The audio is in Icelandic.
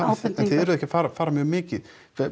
eruð ekki að fara fara mjög mikið